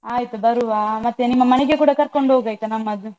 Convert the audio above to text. ಆಯ್ತು ಬರುವ. ಮತ್ತೆ ನಿಮ್ಮ ಮನೆಗೆ ಕೂಡ ಕರ್ಕೊಂಡು ಹೋಗು ಆಯ್ತಾ ನಮ್ಮನ್ನು.